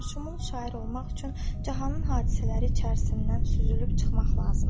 Cahanişumul şair olmaq üçün cahanın hadisələri içərisindən süzülüb çıxmaq lazımdır.